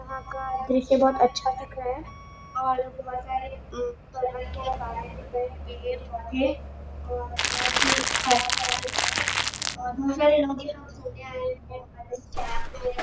जहाँ का दृश्य अच्छा दिख रहा हैं और बहुत सारे सब ने का भी और बहुत ही अच्छा लग हैं और मुझे